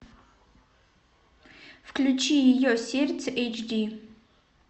включи ее сердце эйч ди